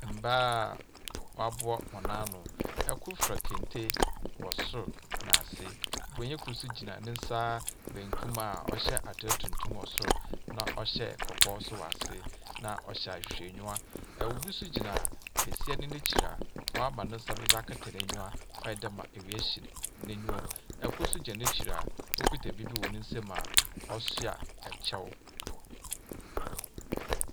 Mbaa waboa hɔn ano ɛkor fira kente wɔ soro naase bronyin kor gyina nesaa benkum aa ɔhyɛ atar tuntum wɔ sor na ɔhyɛ kɔkɔɔ so wɔ ase na ɔhyɛ ahwehwɛ niwa obi so gyina besiaa no nekyira waama ne nsa do kataa nenyiwa waayɛdɛɛ ma ewia hye nenyiwa ekor gyina nekyira okita biribi wɔ ne sɛm ɔsia ekyɛw.